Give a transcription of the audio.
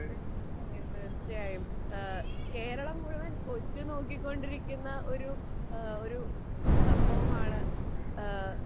തീർച്ചയായും ഈഹ് കേരളം മുഴുവൻ ഒറ്റു നോക്കികൊണ്ടിരിക്കുന്ന ഒരു എഹ് ഒരു സംഭവമാണ് എഹ്